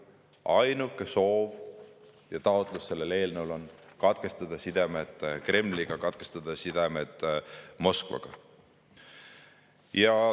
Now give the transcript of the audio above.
Selle eelnõu ainuke soov ja taotlus on see, et katkestataks sidemed Kremliga, katkestataks sidemed Moskvaga.